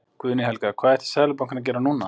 Guðný Helga: Hvað ætti Seðlabankinn að gera núna?